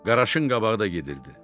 Qaraşın qabağı da gedirdi.